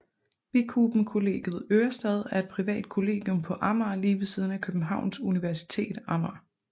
Bikuben Kollegiet Ørestad er et privat kollegium på Amager lige ved siden af Københavns Universitet Amager